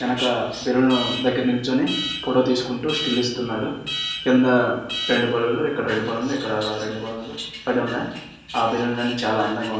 వెనక బెలూన్ దగ్గర నిల్చుని ఫోటో తీసుకుంటూ స్టిల్ ఇస్తున్నాడు. కింద రెండు బెలూన్ లు ఇక్కడ రెండు బెలూన్ లు ఇక్కడ రెండు బెలూన్ లు పడున్నాయి. ఆ బెలూన్ లన్ని చాలా అందంగా ఉన్నాయి.